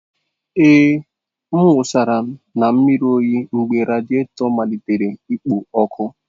Ee, m wụsara na mmiri oyi mgbe radiato malitere ikpo ọkụ.